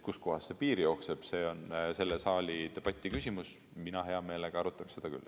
Kust kohast see piir jookseb, see on selle saali debati küsimus, mina hea meelega arutaks seda küll.